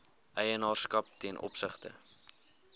eienaarskap ten opsigte